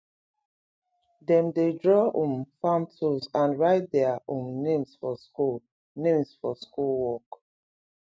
dem dey draw um farm tools and write their um names for school names for school work